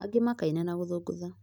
angi makaina na gũthũngũtha